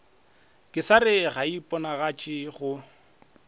kesare ga e iponagatše go